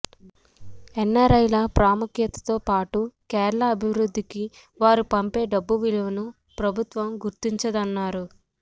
ఎన్ఆర్ఐల ప్రాముఖ్యతతో పాటు కేరళ అభివృద్ధికి వారు పంపే డబ్బు విలువను ప్రభుత్వం గుర్తించిందన్నారు